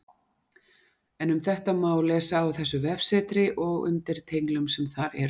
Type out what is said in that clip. En um þetta má lesa á þessu vefsetri og undir tenglum sem þar eru.